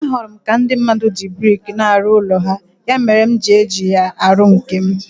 Ahụrụ m ka ndị mmadụ ji brik na-arụ ụlọ ha, ya mere m ji eji ya arụ nke m.